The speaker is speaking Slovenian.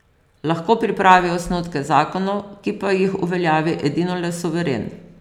Lahko pripravi osnutke zakonov, ki pa jih uveljavi edinole suveren.